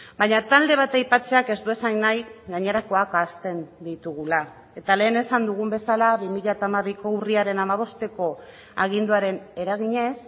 baina talde bat aipatzeak ez du esan nahi gainerakoak ahazten ditugula eta lehen esan dugun bezala bi mila hamabiko urriaren hamabosteko aginduaren eraginez